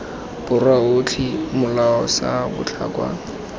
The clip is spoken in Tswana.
borwa otlhe molao sa botlhokwa